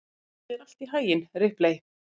Gangi þér allt í haginn, Ripley.